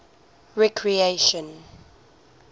recreation